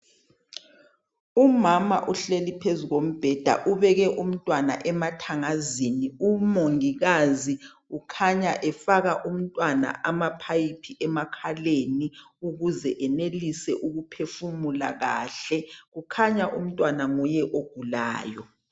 Umama uhleli phezu kombheda ubeke umntwana emathangazini umongikazi ukhanya efaka umntwana amapipe emakhaleni ukuze enelise ukuphefumula kahle kukhanya umntwana nguye ogulayo.